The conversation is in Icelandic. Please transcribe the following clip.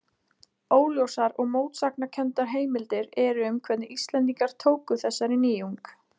Óljósar og mótsagnakenndar heimildir eru um hvernig Íslendingar tóku þessari nýjung.